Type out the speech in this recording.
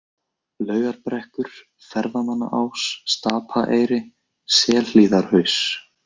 Laugarbrekkur, Ferðamannaás, Stapaeyri, Selhlíðarhaus